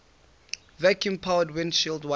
vacuum powered windshield wipers